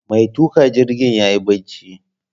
Mai tuƙa jirgin yayi barci